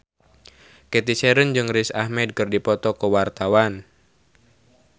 Cathy Sharon jeung Riz Ahmed keur dipoto ku wartawan